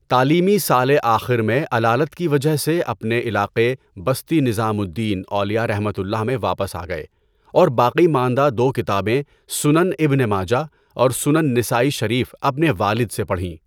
تعلیمی سالِ آخر میں علالت کی وجہ سے اپنے علاقے بستی نطام الدین اولیاءؒ میں واپس آ گئے اور باقی ماندہ دو کتابیں سُنَن ابنِ ماجہ اور سُنَن نَسائی شریف اپنے والد سے پڑھیں۔